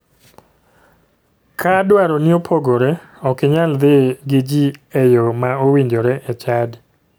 Ka dwaroni opogore , ok inyal dhi gi ji e yoo ma owinjore e chadi.